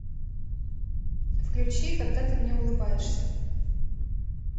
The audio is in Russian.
включи когда ты мне улыбаешься